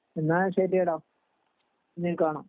എന്ന ശെരി ഡാ ഇനീം കാണാം